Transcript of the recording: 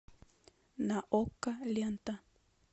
на окко лента